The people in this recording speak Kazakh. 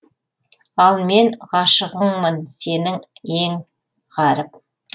ал мен ғашығыңмын сенің ең ғаріп